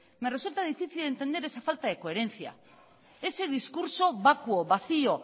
me resulta difícil entender esa falta de coherencia ese discurso vacuo vacío